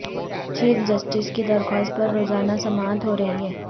chief justice کی درخواست پر روزانہ سماعت ہو رہی ہے